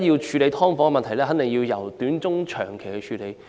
處理"劏房"的問題，必定要採取短中長期措施。